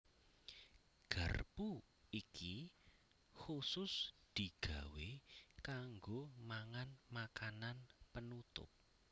Garpu iki khusus digawé kanggo mangan makanan penutup